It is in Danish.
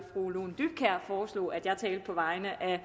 fru lone dybkjær foreslog at jeg talte på vegne af